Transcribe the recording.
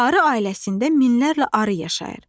Arı ailəsində minlərlə arı yaşayır.